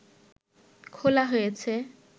খোলা হয়েছে